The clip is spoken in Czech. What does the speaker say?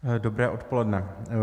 Dobré odpoledne.